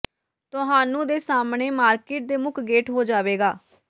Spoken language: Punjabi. ਤੁਹਾਨੂੰ ਦੇ ਸਾਹਮਣੇ ਮਾਰਕੀਟ ਦੇ ਮੁੱਖ ਗੇਟ ਹੋ ਜਾਵੇਗਾ